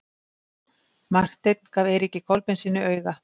Marteinn gaf Eiríki Kolbeinssyni auga.